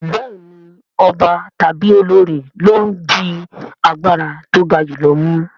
Bẹ́ẹ̀ni ọba tàbí olorì ló ń di agbára tó ga jù lọ mú